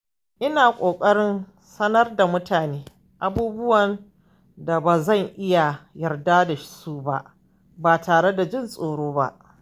Ina ƙoƙarin sanar da mutane abubuwan da ba zan iya yarda da su ba ba tare da jin tsoro ba.